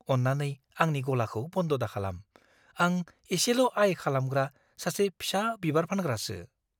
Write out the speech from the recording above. अन्नानै आंनि गलाखौ बन्द' दाखालाम। आं एसेल' आय खालामग्रा सासे फिसा बिबार फानग्रासो।